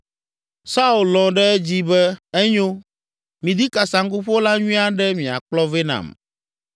Saul lɔ̃ ɖe edzi be, “Enyo, midi kasaŋkuƒola nyui aɖe miakplɔ vɛ nam.”